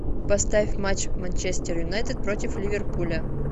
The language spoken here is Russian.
поставь матч манчестер юнайтед против ливерпуля